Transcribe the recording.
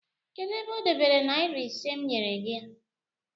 kedu ebe o dobere naira iri ise m nyere ya?